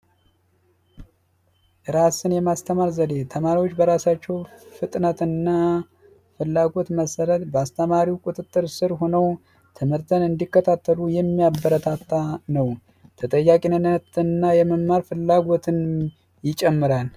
ራስን የማስተማር ዘዴ ተማሪዎች በራሳቸው ፍጥነትንና ፍላጎት መሰረት በአስተማሪው ቁጥጥር ስር ሆኖ ትምህርትን እንዲከታተሉ የሚያበረታታ ነው ተጠያቂነትና የመማር ፍላጎትን ይጨምራል